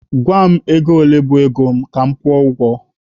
Gwa m ego ole bụ ego mụ ka mụ kwụọ ụgwọ!